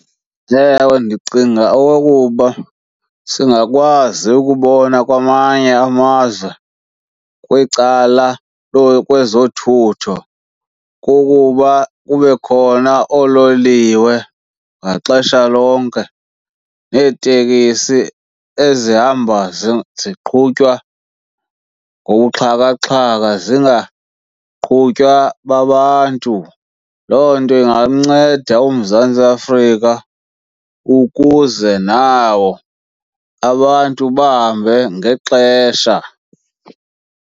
Ewe, ndicinga okokuba singakwazi ukubona kwamanye amazwe kwicala kwezoothutho kukuba kube khona oololiwe ngaxesha lonke neetekisi ezihamba ziqhutywa ngobuxhakaxhaka zingaqhutywa babantu. Loo nto ingamnceda uMzantsi Afrika ukuze nawo abantu bahambe ngexesha.